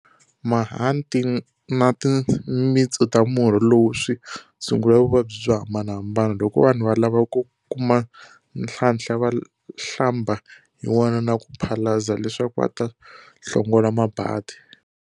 Mahanti na timitsu ta murhi lowu swi tshungula vuvabyi byo hambanahambana. Loko vanhu va lava ku kuma nhlanhla, va hlamba hi wona na ku phalaza leswaku va ta hlongola mabadi.